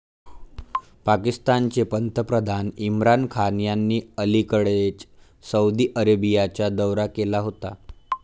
पाकिस्तानचे पंतप्रधान इम्रान खान यांनी अलिकडेच सौदी अरेबियाचा दौरा केला होता.